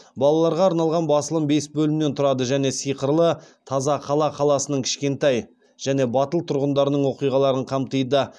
балаларға арналған басылым бес бөлімнен тұрады және сиқырлы тазақала қаласының кішкентай және батыл тұрғындарының оқиғаларын қамтиды